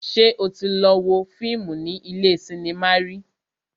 Ṣé o tí lọ wo fíìmù ní ilé cinema rí?